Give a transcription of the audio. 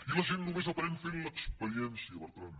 i la gent només aprèn fent l’experiència bertran